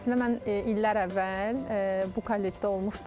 Əslində mən illər əvvəl bu kollecdə olmuşdum.